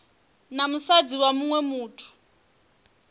na musadzi wa muṅwe muthu